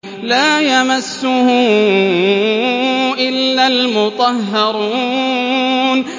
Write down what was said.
لَّا يَمَسُّهُ إِلَّا الْمُطَهَّرُونَ